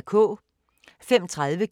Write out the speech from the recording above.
05:30: